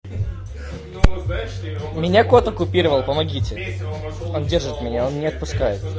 у меня кот оккупировал помогите он держит меня он не отпускай